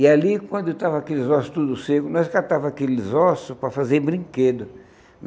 E ali, quando estavam aqueles ossos todos secos, nós catava aqueles ossos para fazer brinquedos.